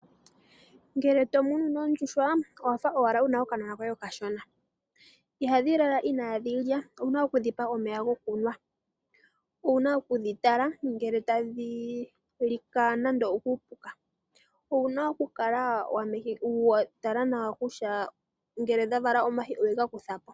Ngele to munu oondjuhwa owa fa owala wu na okanona koye okashona . Ihadhi lala inaadhi lya owu na okudhipa omeya gokunwa. Owu na okudhi tala ngele tadhi lika nando okuupuka. Owu na okukala wa tala nawa kutya ngele dha vala omayi owu na okuga kutha ko.